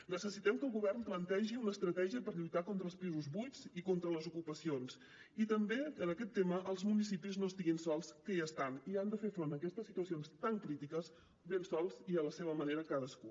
necessitem que el govern plantegi una estratègia per lluitar contra els pisos buits i contra les ocupacions i també que en aquest tema els municipis no estiguin sols que hi estan i han de fer front a aquestes situacions tan crítiques ben sols i a la seva manera cadascú